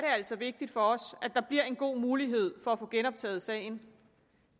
altså vigtigt for os at der bliver en god mulighed for at få genoptaget sagen